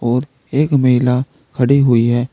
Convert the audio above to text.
और एक महिला खड़ी हुई है।